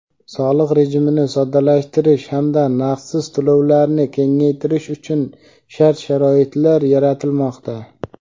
soliq rejimini soddalashtirish hamda naqdsiz to‘lovlarni kengaytirish uchun shart-sharoitlar yaratilmoqda.